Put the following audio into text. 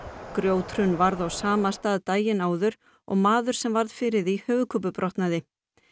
grjóthrun varð á sama stað daginn áður og maður sem varð fyrir því höfuðkúpubrotnaði